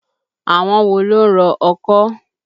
Àwọn wo ló ń rọ ọkọ́?